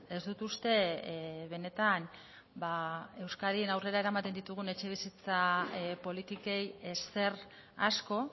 ez dut uste benetan euskadin aurrera eramaten ditugun etxebizitza politikei ezer asko